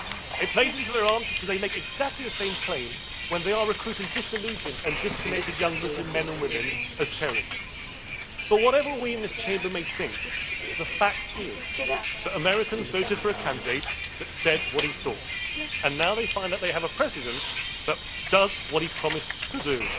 It plays into their arms because they make exactly the same claim when they are recruiting disillusioned and disconnected young Muslim men and women as terrorists. But whatever we in this Chamber may think, the fact is that Americans voted for a candidate who said what he thought, and now they find that they have a President who does what he promised to do.